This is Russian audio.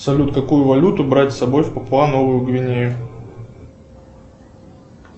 салют какую валюту брать с собой в папуа новую гвинею